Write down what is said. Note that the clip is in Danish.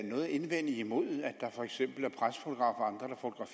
noget at indvende imod at der for eksempel er pressefotografer og